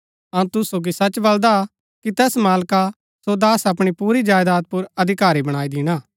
अऊँ तुसु सोगी सच बलदा कि तैस मालका सो दास अपणी पुरी जायदात पुर अधिकारी बणाई दिणा